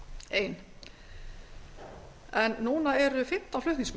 ein en núna eru fimmtán flutningsmenn